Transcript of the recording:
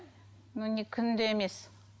но не күнде емес